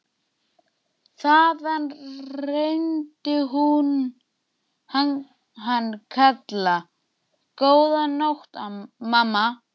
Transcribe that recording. Þaðan heyrði hún hann kalla: Góða nótt mamma.